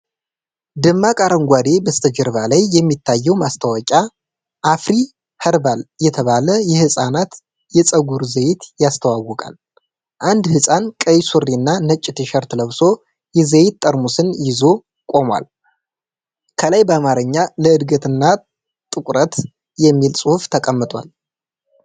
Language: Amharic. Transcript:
ደማቅ አረንጓዴ በስተጀርባ ላይ የሚታየው ማስታወቂያ "አፍሪ ህርባል" (Afri Herbal) የተባለ የህጻናት የፀጉር ዘይት ያስተዋውቃል። አንድ ህጻን ቀይ ሱሪና ነጭ ቲሸርት ለብሶ የዘይት ጠርሙሱን ይዞ ቆሟል። ከላይ በአማርኛ "ለዕድገትና ጥቁረት" የሚል ጽሑፍ ተቀምጧል።